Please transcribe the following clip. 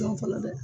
Dɔn fɔlɔ dɛ